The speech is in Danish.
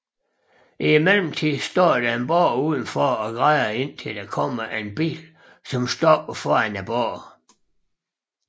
I mellem tiden står der et barn uden for og græder indtil der kommer en bil som stopper foran barnet